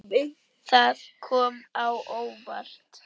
Það kom á óvart.